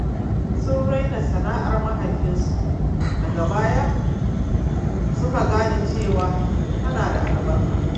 Sun raina sana’ar mahaifinsu, daga baya suka gane cewa tana da albarka.